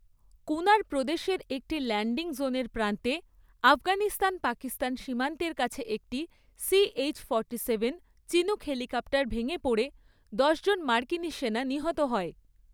কুনার প্রদেশের একটি ল্যান্ডিং জোনের প্রান্তে আফগানিস্তান পাকিস্তান সীমান্তের কাছে একটি CH forty seven, Chinook helicopter ভেঙে পড়ে দশজন মার্কিনী সেনা নিহত হয়।